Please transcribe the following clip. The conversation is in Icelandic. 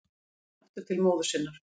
Börnin aftur til móður sinnar